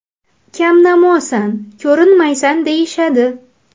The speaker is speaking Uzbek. Kamnamosan, ko‘rinmaysan deyishadi.